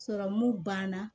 banna